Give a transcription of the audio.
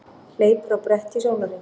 Hleypur á bretti í sólarhring